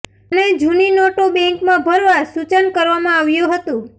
અને જુની નોટો બેંન્કમાં ભરવા સુચન કરવામાં આવ્યુ હતુ